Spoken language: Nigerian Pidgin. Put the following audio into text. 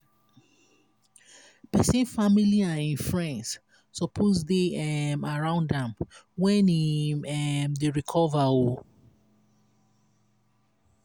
pesin family and e friends suppose dey um around am when em um dey recover. um